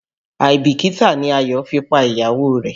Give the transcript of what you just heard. Àìbìkítà ni Ayọ̀ fi pa ìyàwó rẹ̀.